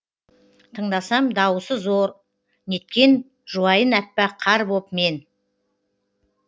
тыңдасам дауысы зор неткен жуайын аппақ қар боп мен